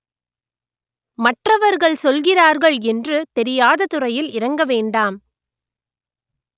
மற்றவர்கள் சொல்கிறார்கள் என்று தெரியாத துறையில் இறங்க வேண்டாம்